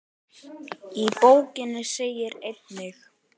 Í bókinni segir einnig